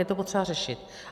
Je to potřeba řešit.